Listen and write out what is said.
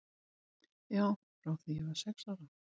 Já, frá því ég var sex ára.